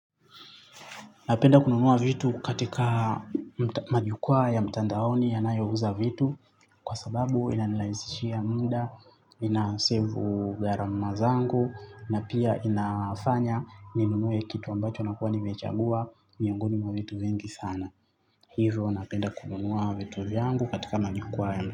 Napenda kununua vitu katika majukwaa ya mtandaoni yanayouza vitu. Kwa sababu inanilahisishia muda, ina sevu gharama zangu. Na pia inafanya ninunue kitu ambacho nakuwa nimechagua miongoni mwa vitu vingi sana. Hivyo napenda kununua vitu vyangu katika majukwaa ya mtandaoni.